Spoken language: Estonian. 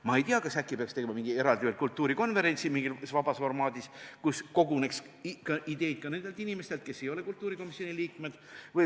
Ma ei tea, kas äkki peaks tegema mingi eraldi kultuurikonverentsi mingis vabas formaadis, kus koguneks ideid ka nendelt inimestelt, kes ei ole kultuurikomisjoni liikmed.